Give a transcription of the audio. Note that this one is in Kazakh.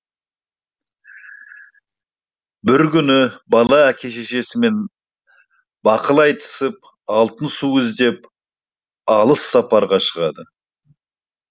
бір күні бала әке шешесімен бақыл айтысып алтын су іздеп алыс сапарға шығады